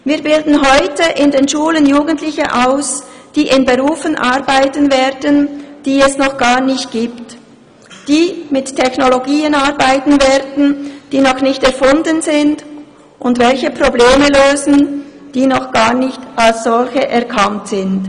Wir bilden heute in den Schulen Jugendliche aus, die in Berufen arbeiten werden, die es noch gar nicht gibt, die mit Technologien arbeiten werden, die noch nicht erfunden sind und welche Probleme lösen, die noch gar nicht als solche erkannt sind.